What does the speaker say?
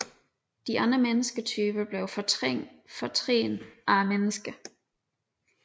De andre mennesketyper blev fortrængt af mennesket